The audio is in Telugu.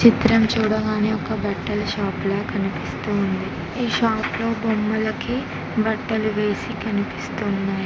చిత్రం చూడగానే ఒక బట్టలు షాప్ లా కనిపిస్తుంది ఈ షాప్ లో బొమ్మలకి బట్టలు వేసి కనిపిస్తున్నాయి.